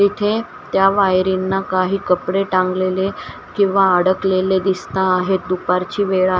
तिथे त्या वायरींना काही कपडे टांगलेले किंवा अडकलेले दिसता आहेत दुपारची वेळा--